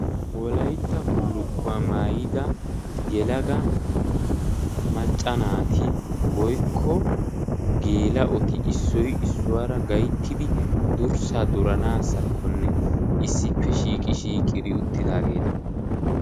wolaytta bullukuwa maayida geela'o woykko macca nati issoy issuwara duranaakkone issippe shiiqi shiiqi uitageeta.